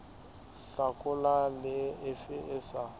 hlakola le efe e sa